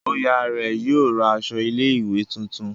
Oya rẹ yóò ra aṣọ ilé ìwé títún.